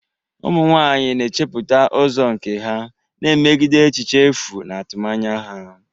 Ụmụ nwanyị na-echepụta ụzọ nke ha, na-emegide echiche efu na atụmanya ha.